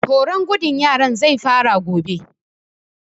Horon gudun yaran zai fara gobe